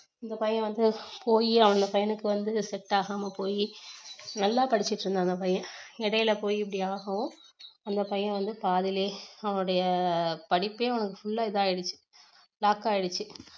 அந்த பையன் வந்து போயி அந்த பையனுக்கு வந்து set ஆகாம போயி நல்லா படிச்சுட்டு இருந்தான் அந்த பையன் இடையில போயி இப்படி ஆகவும் அந்த பையன் வந்து பாதியிலேயே அவனுடைய படிப்பே அவனுக்கு full லா இது ஆயிடுச்சு lock ஆயிடுச்சு